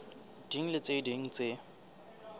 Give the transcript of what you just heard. ding le tse ding tse